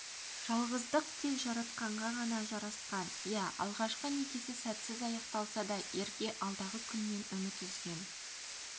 жалғыздық тек жаратқанға ғана жарасқан иә алғашқы некесі сәтсіз аяқталса да ерке алдағы күннен үміт үзген